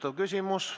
Hea küsija!